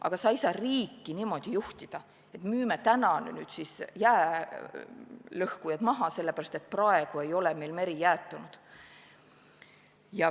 Aga sa ei saa riiki niimoodi juhtida, et müüme nüüd jäälõhkujad maha, sest praegu ei ole meil meri jäätunud.